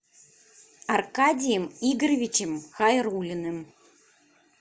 аркадием игоревичем хайруллиным